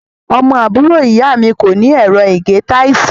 Ọmọ àbúrò ìyá mi kó ní ẹ̀rọ ìgé táìsì.